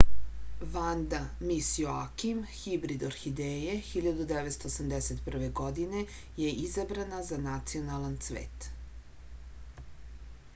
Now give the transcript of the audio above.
vanda mis joakim hibrid orhideje 1981. godine je izabrana za nacionalan cvet